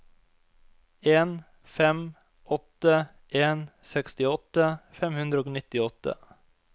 en fem åtte en sekstiåtte fem hundre og nittiåtte